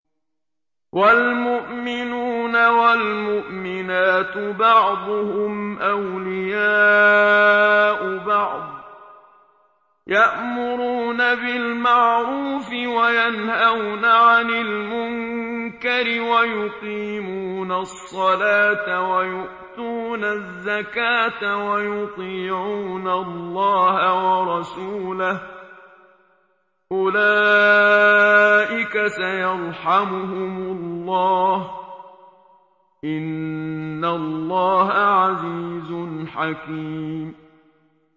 وَالْمُؤْمِنُونَ وَالْمُؤْمِنَاتُ بَعْضُهُمْ أَوْلِيَاءُ بَعْضٍ ۚ يَأْمُرُونَ بِالْمَعْرُوفِ وَيَنْهَوْنَ عَنِ الْمُنكَرِ وَيُقِيمُونَ الصَّلَاةَ وَيُؤْتُونَ الزَّكَاةَ وَيُطِيعُونَ اللَّهَ وَرَسُولَهُ ۚ أُولَٰئِكَ سَيَرْحَمُهُمُ اللَّهُ ۗ إِنَّ اللَّهَ عَزِيزٌ حَكِيمٌ